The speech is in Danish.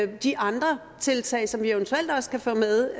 de andre tiltag som vi eventuelt også kan få med